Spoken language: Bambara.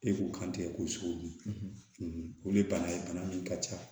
E k'u kan tigɛ ko suw ni bana ye bana min ka ca